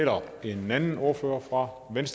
når man